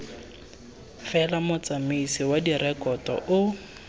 fela motsamaisi wa direkoto o